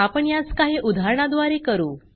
आपण यास काही उदाहरणा द्वारे करू